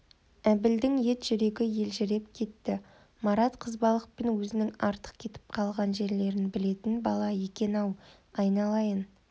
әбілдің ет жүрегі елжіреп кетті марат қызбалықпен өзінің артық кетіп қалатын жерлерін білетін бала екен-ау айналайын